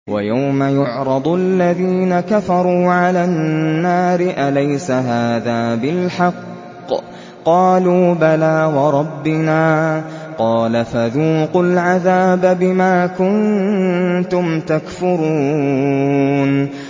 وَيَوْمَ يُعْرَضُ الَّذِينَ كَفَرُوا عَلَى النَّارِ أَلَيْسَ هَٰذَا بِالْحَقِّ ۖ قَالُوا بَلَىٰ وَرَبِّنَا ۚ قَالَ فَذُوقُوا الْعَذَابَ بِمَا كُنتُمْ تَكْفُرُونَ